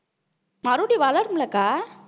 மறுபடியும் வளருமில்லை அக்கா